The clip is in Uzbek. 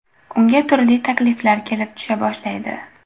Unga turli takliflar kelib tusha boshlaydi.